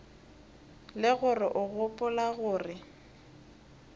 le gore o gopola gore